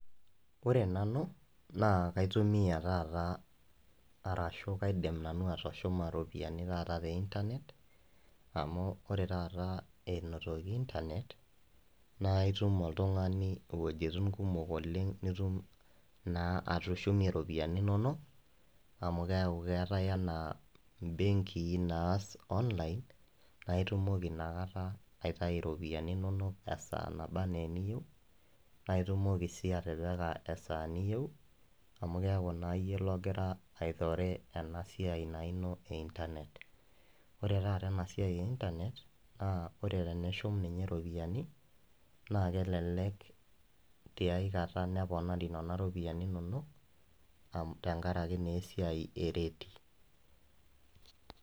ore nanu naa kaitumia taata arashu kaidim nanu atushuma iropiyiani naata teintanet amu oree taata enoitoki intanet naa itum oltungani iwojitin kumok oleng nitum naa atushumie iropiyiani inonok amu keeku keetai enaa imbenki naaas online naa itumoki naa taaata aitayu ropiyiani inonok esaa nabaa ena eniyiou naa itumokii s9i atipikaa esaa niyeu amu keeku naa iyie ogira aitore ena siai naa ino te internet oree taata ena siai e internet naa ore tenishum taata ropiyiani na kelelek tiakata neponari nena ropyiani inonok tenkaraki naa eisai e rate